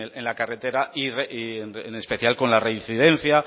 en la carretera y en especial con la reincidencia